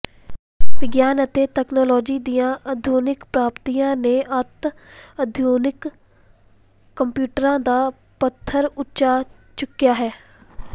ਵਿਗਿਆਨ ਅਤੇ ਤਕਨਾਲੋਜੀ ਦੀਆਂ ਆਧੁਨਿਕ ਪ੍ਰਾਪਤੀਆਂ ਨੇ ਅਤਿ ਆਧੁਨਿਕ ਕੰਪਿਊਟਰਾਂ ਦਾ ਪੱਧਰ ਉੱਚਾ ਚੁੱਕਿਆ ਹੈ